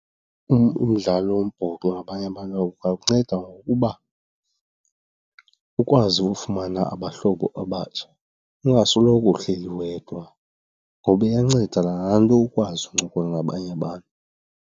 Umdlalo wombhoxo ngabanye abantu ungakunceda ngokuba ukwazi ufumana abahlobo abatsha ungasoloko uhleli wedwa, ngoba iyanceda nalaa nto ukwazi ukuncokola nabanye abantu.